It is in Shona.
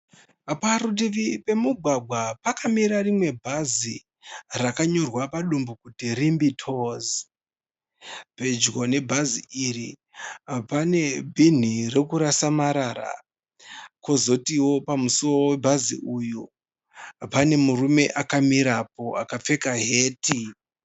Parutivi pemugwagwa pakamira rimwe bhazi rakanyorwa padumbu kuti Rimbi Tours. Pedyo nebhazi iri pane bhini rekurasa marara. Kwozotiwo pamusuwo webhazi uyu pane murume akamirapo akapfeka heti.